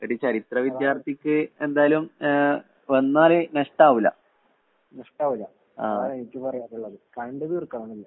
ഒരു ചരിത്ര വിദ്യാര്‍ത്ഥിക്ക് എന്തായാലും ങ്ങ്ഹേ വന്നാല് നഷ്ടാവുല. നഷ്ടാവുല. അതാണ് എനിക്ക് പറയാനുള്ളത്.കണ്ടു തീര്‍ക്കണം എല്ലാം.